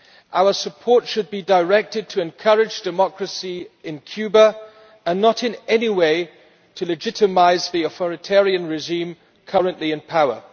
Our support should be directed to encourage democracy in Cuba and not in any way to legitimise the authoritarian regime currently in power.